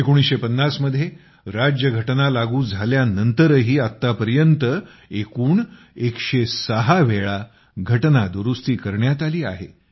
1950 मध्ये राज्यघटना लागू झाल्यानंतरही आत्तापर्यंत एकूण 106 वेळा घटनादुरुस्ती करण्यात आली आहे